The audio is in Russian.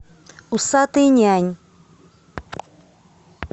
усатый нянь